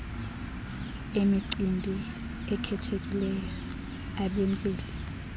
emicimbi ekhethekileyo abenzeli